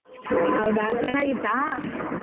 ಹೌದಾ ಚೆನ್ನಾಗಿತ್ತಾ?